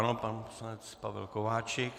Ano, pan poslanec Pavel Kováčik.